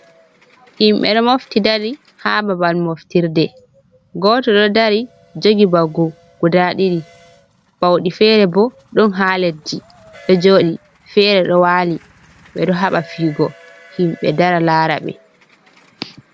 Himɓe ɗo mofti dari ha babal moftirde, goto ɗo dari jogi mbaggu guda ɗiɗi, bawɗi fere bo ɗon ha leddi ɗo jooɗi, fere ɗo waali, ɓe ɗo haɓa fiyugo himɓe dara laara ɓe.